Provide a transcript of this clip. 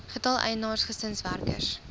getal eienaars gesinswerkers